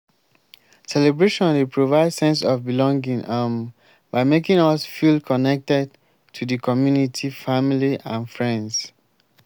celebration dey provide sense of belonging um by making us feel connected to di community family and friends.